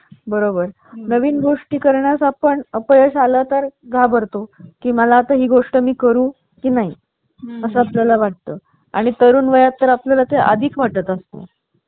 आह कारण त्याची features desktop आपल्याला खूप कमी पैशात आह. मिळू शकतं.